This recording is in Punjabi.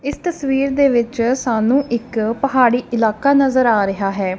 ਇਸ ਤਸਵੀਰ ਦੇ ਵਿੱਚ ਸਾਨੂੰ ਇੱਕ ਪਹਾੜੀ ਇਲਾਕਾ ਨਜ਼ਰ ਆ ਰਿਹਾ ਹੈ।